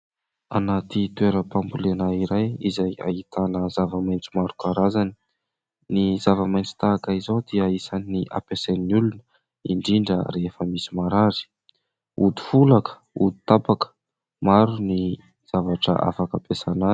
Anaty toeram-pambolena iray izay ahitana zava-maitso maro karazany. Ny zava-maitso tahaka izao dia isan'ny ampiasain'ny olona indrindra rehefa misy marary. Ody folaka, ody tapaka, maro ny zavatra afaka ampiasaina azy.